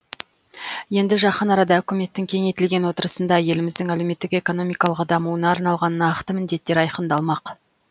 енді жақын арада үкіметтің кеңейтілген отырысында еліміздің әлеуметтік экономикалық дамуына арналған нақты міндеттер айқындалмақ